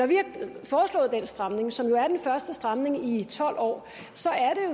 den stramning som jo er den første stramning i tolv år